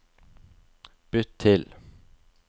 bytt til